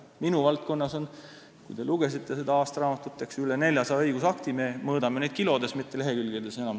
Minu valdkonnas on, kui te lugesite seda aastaraamatut, üle 400 õigusakti ja me mõõdame neid juba kilodes, mitte enam lehekülgedes.